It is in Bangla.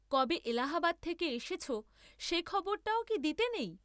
কবে এলাহাবাদ থেকে এসেছ সে খবরটাও কি দিতে নেই?